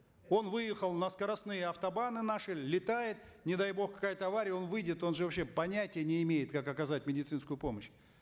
он выехал на скоростные автобаны наши летает не дай бог какая то авария он выйдет он же вообще понятия не имеет как оказать медицинскую помощь